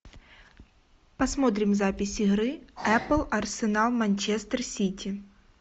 посмотрим запись игры апл арсенал манчестер сити